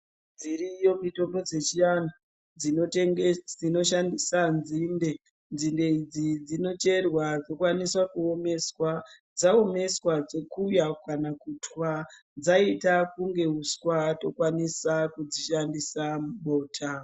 Dziriyo mitombo dzechiantu dzinoshandisa dzinde dzinde idzi dzinocherwa dzokwanise omeswa dzaomeswa dzokuiwa kuna kutwa dzaita kunga uswa tokwanisa dzishandisa mubota.